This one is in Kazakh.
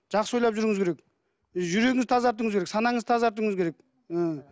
жақсы ойлап жүруіңіз керек жүрегіңізді тазартуыңыз керек санаңызды тазартуыңыз керек ы